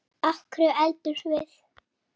Af hverju eldumst við?